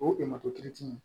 O ye emato